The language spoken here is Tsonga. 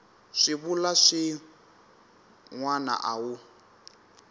swivulwa swin wana a wu